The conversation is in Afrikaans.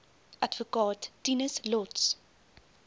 adv tinus lotz